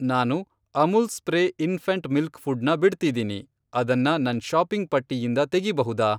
ನಾನು Amul spray infant milk food ನ ಬಿಡ್ತಿದೀನಿ, ಅದನ್ನ ನನ್ ಷಾಪಿಂಗ್ ಪಟ್ಟಿಯಿಂದ ತೆಗಿಬಹುದಾ?